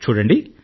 చూడండి